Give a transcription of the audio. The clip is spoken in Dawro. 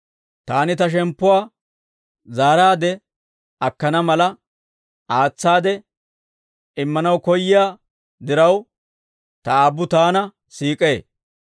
«Taani Ta shemppuwaa zaaraadde akkana mala, aatsaade immanaw koyyiyaa diraw, Ta Aabbu Taana siik'ee.